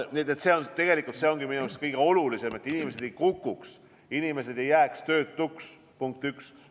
See ongi tegelikult minu meelest kõige olulisem, et inimesed ei kukuks, ei jääks töötuks.